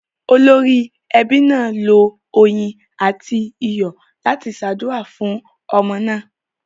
Olórí ẹbí náà lo oyin àti iyọ̀ láti ṣàdúrà fún ọmọ náà.